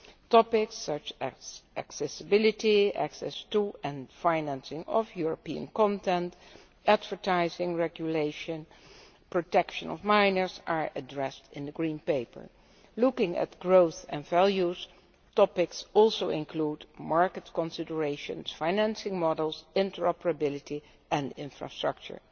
Topics such as accessibility, access to and financing of European content, advertising regulation and the protection of minors are addressed in the Green Paper. Looking at growth and values, topics also include market considerations, financing models, interoperability and infrastructure.